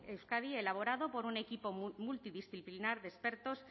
euskadi elaborado por un equipo multidisciplinar de expertos